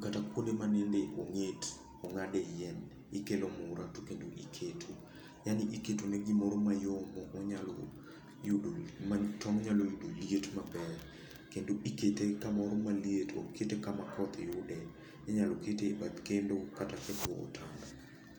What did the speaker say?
kata kuonde ma nende ong'et, ong'ade yien, ikelo mura to kendo iketo. Yaani iketo ne gimoro mayom ma onyalo yudo, ma tong' nyalo yudo liet maber. Kendo ikete kamoro ma liet. Ok kete kama koth yude. Inyalo kete bath kendo kata e